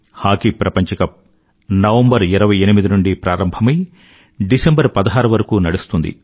hockey ప్రపంచ cup November 28 నుండీ ప్రారంభమై డిసెంబర్ 16 వరకూ నడుస్తుంది